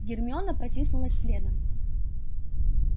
гермиона протиснулась следом